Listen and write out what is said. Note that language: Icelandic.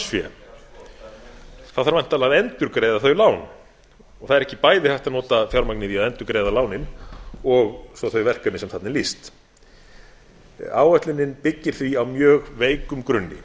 það þarf væntanlega að endurgreiða þau lán og það er ekki bæði hægt að nota fjármagnið í að endurgreiða lánin og svo þau verkefni sem þarna er lýst áætlun byggir því á mjög veikum grunni